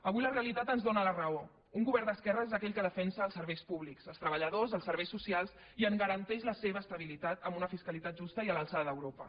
avui la realitat ens dóna la raó un govern d’esquerres és aquell que defensa els serveis públics els treballadors els serveis socials i en garanteix la seva estabilitat amb una fiscalitat justa i a l’alçada d’europa